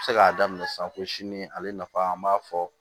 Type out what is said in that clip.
Bɛ se k'a daminɛ sisan ko sini ale nafa an b'a fɔ